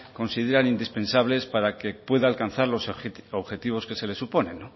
consideran indispensables para que pueda alcanzar los objetivos que se le suponen